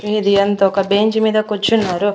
వీధి అంతా ఒక బెంచ్ మీద కూర్చున్నారు.